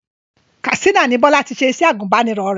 Katsina ni Bọ́lá ti ṣe iṣẹ́ agùbánirọ̀ rẹ̀